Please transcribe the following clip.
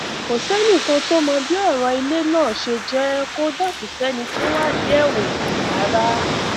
kò sẹnì kan tó mọ bí ọrọ ilé náà ṣe jẹ kódà kò sẹni tó wádìí ẹ wò rárá